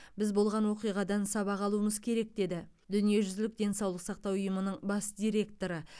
біз болған оқиғадан сабақ алуымыз керек деді дүниежүзілік денсаулық сақтау ұйымының бас директоры